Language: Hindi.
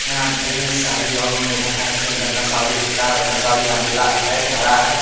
यहाँ पे देख रहे है साड़ी ओ मिल रहा है तीन रंगा साड़ी है चार रंगा साड़ी यहाँ भी लाल है हरा है।